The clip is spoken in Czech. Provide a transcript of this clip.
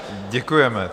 Děkujeme.